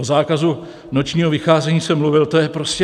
O zákazu nočního vycházení jsem mluvil, to je prostě...